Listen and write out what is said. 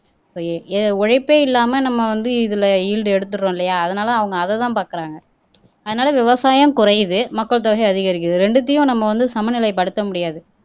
இப்ப ஏ உழைப்பே இல்லாம நம்ம வந்து இதுல ஈல்டு எடுத்தர்றோம் இல்லையா அதனால அவங்க அதைதான் பாக்குறாங்க அதனால விவசாயம் குறையுது மக்கள் தொகை அதிகரிக்குது ரெண்டத்தையும் நம்ம வந்து சமநிலை படுத்த முடியாது